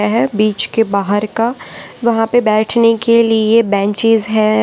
है बीच के बाहर का वहां पे बैठने के लिए बेंचस हैं।